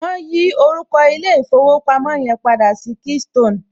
Wọn yí orúkọ ilé ìfowópamọ́ yẹn padà sí keystone